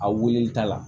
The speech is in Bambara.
A weele ta la